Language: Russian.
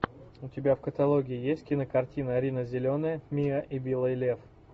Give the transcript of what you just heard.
у тебя в каталоге есть кинокартина рина зеленая миа и белый лев